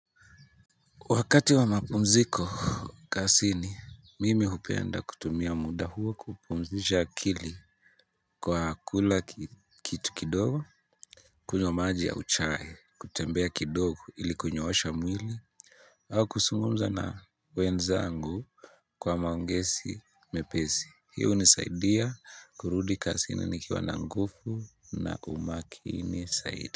Wakati wa mapumziko kazini, mimi hupenda kutumia muda huo kupumzisha akili Kwa kula kitu kidogo kunywa maji ya chai, kutembea kidogo ili kunyoosha mwili au kuzungumza na wenzangu Kwa maongezi mepesi, hiyo hunisaidia kurudi kazini nikiwa na nguvu na umakini zaidi.